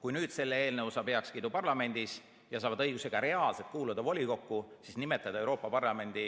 Kui nüüd see eelnõu saab parlamendis heakskiidu ja nad saavad õiguse ka reaalselt volikokku kuuluda, siis nimetada Euroopa Parlamendi